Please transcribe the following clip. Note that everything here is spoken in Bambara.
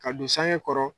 Ka don sange kɔrɔ